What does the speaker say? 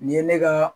Nin ye ne ka